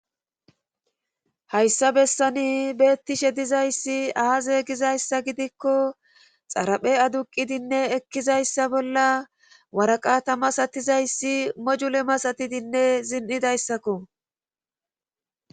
hayssa bessani bettishe dizayssi aaze gizayssa gidikko xaraphe aduqidinne ekkizayssa bolla waraqata masatizayssi mojule masatidinne zin7idayssakko